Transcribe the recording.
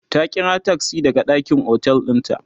ta ƙira taksi daga ɗakin otel ɗin ta